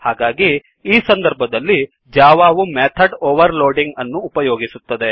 ಹಾಗಾಗಿ ಈ ಸಂದರ್ಭದಲ್ಲಿ ಜಾವಾವು ಮೆಥಡ್ ಓವರ್ಲೋಡಿಂಗ್ ಅನ್ನು ಉಪಯೋಗಿಸುತ್ತದೆ